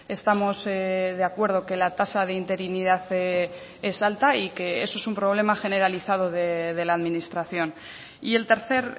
estamos de acuerdo que la tasa de interinidad es alta y que eso es un problema generalizado de la administración y el tercer